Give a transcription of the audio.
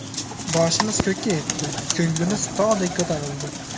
Boshimiz ko‘kka yetdi, ko‘nglimiz tog‘dek ko‘tarildi.